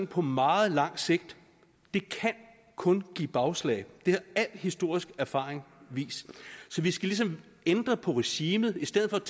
på meget lang sigt kun kan give bagslag det har al historisk erfaring vist så vi skal ligesom ændre på regimet i stedet